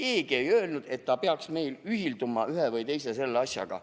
Sest keegi ei öelnud, et ta peaks meil ühilduma ühe või teise asjaga.